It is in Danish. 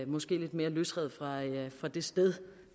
måske lidt mere løsrevet fra det sted